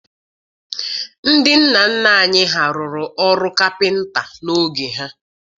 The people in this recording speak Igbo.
Ndị nna nna anyị ha rụrụ ọrụ kapịnta n'oge ha.